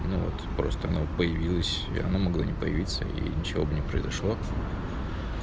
ну вот просто она появилась она могла не появиться и ничего бы не произошло